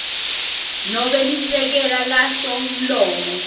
nobe lisekela lasomlomo